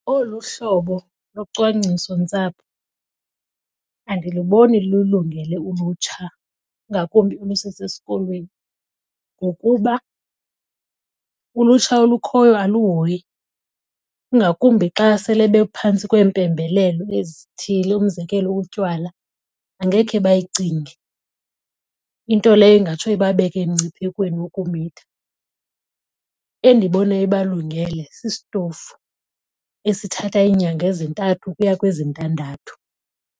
Olu hlobo locwangcisontsapho andiluboni lulungele ulutsha ngakumbi olusesesikolweni ngokuba ulutsha olukhoyo aluhoyi, ingakumbi xa sele bephantsi kweempembelelo ezithile. Umzekelo, utywala angekhe bayicinge. Into leyo ingatsho ibabeke emngciphekweni wokumitha. Endibona ibalungele sisitofu esithatha iinyanga ezintathu ukuya kwezintandathu.